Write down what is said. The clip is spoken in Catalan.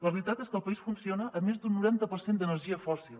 la realitat és que el país funciona amb més d’un noranta per cent d’energia fòssil